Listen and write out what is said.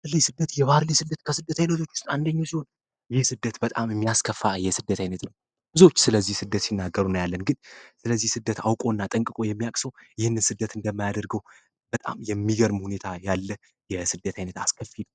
የባህር ላይ ስደት የባህር ላይ ስደት ከስደት አይነቶች አንደኛው ሲሆን ይህ ስደት በጣም የሚያስከፋ የስደት አይነት ነው። ብዙዎች ስለዚህ ስደት ሲናገሩ እናያለን ግን ስለዚህ ስደት አውቆ እና ጠንቅቆ የሚያዉቅ ሰው ይህን ስደት እንደማያደርገው በጣም የሚገርም ሁኔታ ያለ የስደት አስከፊ ስደት ነው።